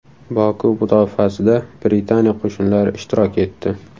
Boku mudofaasida Britaniya qo‘shinlari ishtirok etdi.